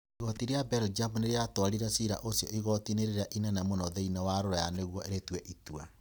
Igooti rĩa Belgium nĩ rĩatwarire cira ũcio igooti-inĩ rĩrĩa inene mũno thĩinĩ wa Rũraya nĩguo rĩtue itua.